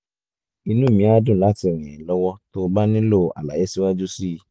inú mi á dùn láti ràn ẹ́ lọ́wọ́ tó o bá nílò àlàyé síwájú sí i